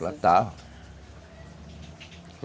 Plantavam.